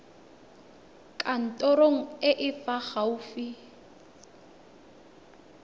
kantorong e e fa gaufi